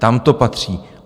Tam to patří.